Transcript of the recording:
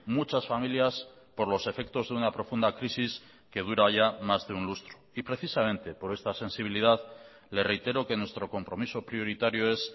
muchas familias por los efectos de una profunda crisis que dura ya más de un lustro y precisamente por esta sensibilidad le reitero que nuestro compromiso prioritario es